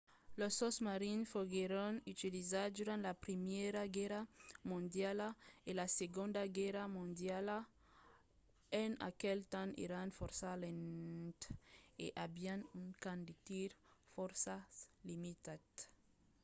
los sosmarins foguèron utilizats durant la primièra guèrra mondiala e la segonda guèrra mondiala. en aquel temps èran fòrça lents e avián un camp de tir fòrça limitat